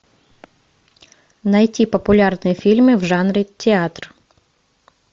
найти популярные фильмы в жанре театр